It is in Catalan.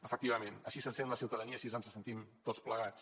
efectivament així se sent la ciutadania així ens sentim tots plegats